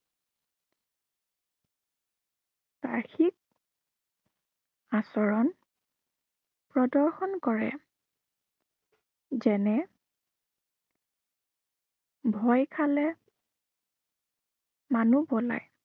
বাহ্য়িক আচৰণ প্ৰদৰ্শন কৰে। যেনে ভয় খালে মানুহ পলায়।